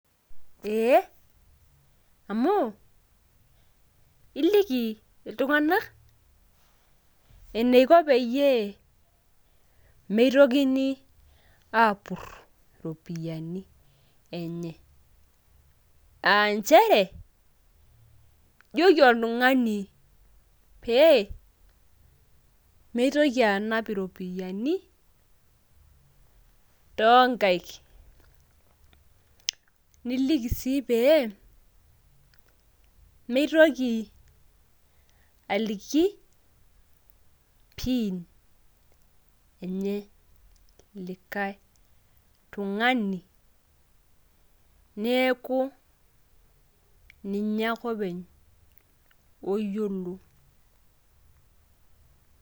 ee amu, iliki iltung'anak eneiko peyiee meitokini aapur iropiyiani enye. nchere ijoki oltungani pee meitoki anap iropiyiani too nkaik. niliki sii peyie mitoki aliki pin eneye likae tungani neeku ninye ake openy oyiolo.